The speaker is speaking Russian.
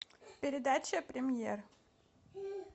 передача премьер